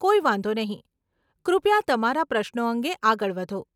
કોઈ વાંધો નહીં, કૃપયા તમારા પ્રશ્નો અંગે આગળ વધો.